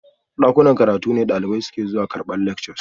Dakunan karatu ne dalibai suke zuwa karbar lectures